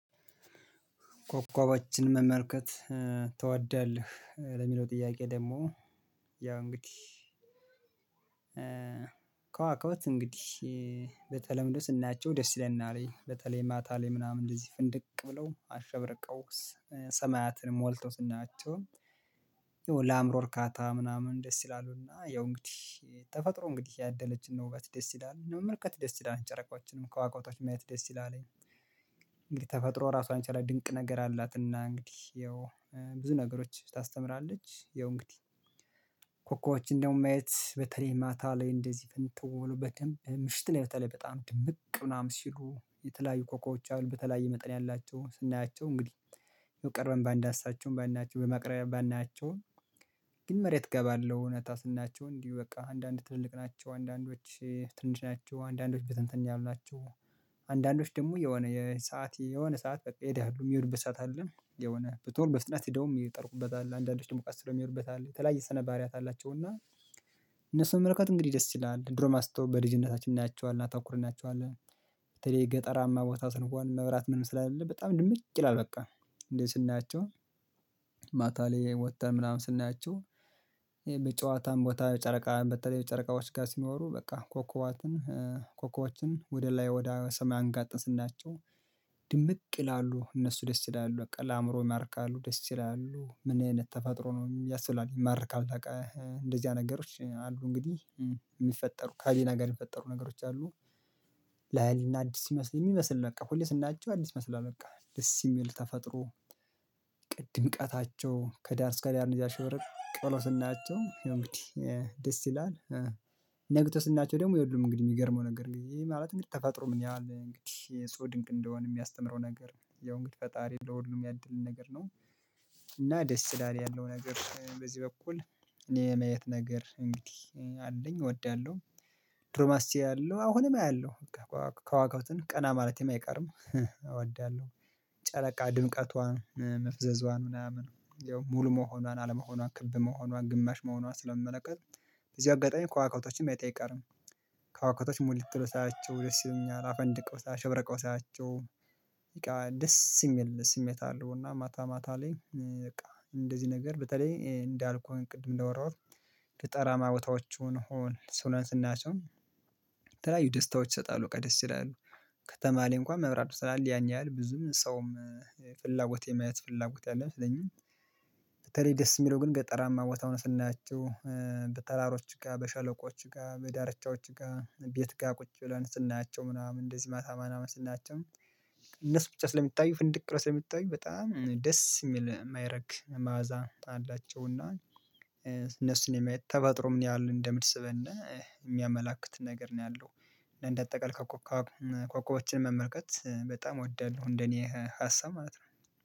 ኮከቦችን መመልከት ትወዳለህ? ለሚለው ጥያቄ ደግሞ ያው እንግዲህ ከዋክብት እንግዲህ በተለምዶ ስናያቸው ደስ ይለናል በተለይ ማታ ላይ ምናምን እንደዚህ ፍንድቅ ብለው አሸብርቀው ሰማያትን ሞልተው ስናያቸው የሆነ ለአእምሮ እርካታ ምናምን ደስ ይላሉና ያው እንግዲህ ተፈጥሮ እንግዲህ ያደለችን ነው ወበት ደስ ይላል መመልከት ደስ ይላል ጨረቃዎችን ከዋክብቶችን ማየት ደስ ይላልኝ። እንግዲህ ተፈጥሮ ራሷን ችላ ድንቅ ነገር አላት እና እንግዲህ ያው ብዙ ነገሮች ታስተምራለች። ያው እንግዲህ ኮከቦችን እንዲሁም ማየት በተለይ ማታ ላይ እንደዚህ ፍንትው ብሎ በደንብ ምሽት ላይ በተለይ በጣም ድምቅ ምናምን ሲሉ የተለያዩ ኮከቦች አሉ በተለያዩ መጠን ያላቸውን ስናያቸው እንግዲህ የቀረበን ባንዳስሳቸውም ባናያቸውም በማቅረቢያ ባናያቸውም። ግን መሬት እገባለሁ እውነታ ስናያቸው እንዲሁ በቃ አንዳንድ ትልቅ ናቸው አንዳንዶች ትንሽ ናቸው አንዳንዶች በተንትን ያሉ ናቸው። አንዳንዶች ደግሞ የሆነ የሰዓት የሆነ ሰዓት በቃ ይሄዳሉ የሚሄዱበት ሰዓት አለ የሆነ ቦታውን በፍጥነት የሚሄዱበት የሚጠልቁበት አለ የተለያየ ስነባሕሪያት አላቸው። እና እነሱን መመልከት እንግዲህ ደስ ይላል ድሮ ማስተዋል በልጅነታችን እናያቸዋለን አናተኩርባቸዋለን እናያቸዋለን። በተለይ ገጠራማ ቦታ ስንሆን መብራት ምንም ስለሌለ በጣም ድምቅ ይላል በቃ እንዴ ስናያቸው ማታ ላይ ወጥተን ምናምን ስናያቸው። በጨዋታም ቦታ ጨረቃ በተለይ በጨረቃዎች ጋር ሲኖሩ በቃ ኮኮባትን ኮከቦችን ወደ ላይ ወደ ሰማይ አንጋጠን ስናቸው ድምቅ ይላሉ እነሱ ደስ ይላሉ በቃ ለአእምሮ ይማርካሉ ደስ ይላሉ ምን አይነት ተፈጥሮ ነው ያስብላል ይማርካል። እንደዚህ አይነት ነገሮች አሉ እንግዲህ የሚፈጠሩ ከህሊና ጋር የሚፈጠሩ ነገሮች አሉ። ላይና አዲስ ይመስል የሚመስል በቃ ሁሌ ስናያቸው አዲስ መስሏል በቃ ደስ የሚል ተፈጥሮ። ቅድም ቀታቸው ከዳር እስከ ዳር እንጃ ሽብረቅ ብለው ስናያቸው እንግዲህ ደስ ይላል። ነግቶ ስናያቸው ደግሞ የሉም። እንግዲህ የሚገርመው ነገር ግን ማለት እንግዲህ ተፋጥሮ ምን ያህል እንግዲህ ዕጹብ ድንቅ እንደሆነ የሚያስተምረው ነገር ያው እንግዲህ ፈጣሪ ለሁሉም ያድልን ነገር ነው። እና ደስ ይላል ያለው ነገር በዚህ በኩል እኔ የማየት ነገር እንግዲህ አለኝ እወዳለሁ። ድሮም አያለሁ አሁንም አያለሁ። ከዋክብትን ቀና ማለቴም አይቀርም እወዳለሁ። ጨረቃ ድምቀቷን መፍዘዝዋን ምናምን ሙሉ መሆኗን አለመሆኗን ክብ መሆኗን ግማሽ መሆኗን ስለመመለከት በዚህ አጋጣሚ ከዋክብቶችን ማየቴ አይቀርም። ከዋክብቶች ሙልት ብለው ሳያቸው ደስ ይለኛል አፈንድቀው አሸብርቀው ሳያቸው። ደስ የሚል ስሜት አለው እና ማታ ማታ ላይ በቃ እንደዚህ ነገር በተለይ እንዳልኩህ ቅድም እንዳወራሁት። ገጠራማ ቦታዎችን አሁን ስናያቸውም። የተለያዩ ደስታዎች ይሰጣሉ በቃ ደስ ይላል። ከተማ ላይ እንኳን መብራቱ ስላለ ያን ያህል ብዙም ሰውም ፍላጎት የማየት ፍላጎት ያለው አይመስለኝም። በተለይ ደስ የሚለው ግን ገጠራማ ቦታውን ስናያቸው በተራሮች ጋር በሸለቆች ጋር በዳርቻዎች ጋር ቤት ጋር ቁጭ ብለን ስናያቸው ምናምን እንደዚህ ማታ ማታ ስናያቸው። እነሱ ብቻ ስለሚታዩ ፍንድቅ ብለው ስለሚታዩ በጣም ደስ የሚል የማይረግ ማዕዛ አላቸው እና እነሱን የማየት ተፈጥሮ ምን ያህል እንደምትስበነ የሚያመላክት ነገር ነው ያለው። እንደ አጠቃላይ ኮከቦችን መመልከት በጣም እወዳለሁ እንደ እኔ ሀሳብ ማለት ነው።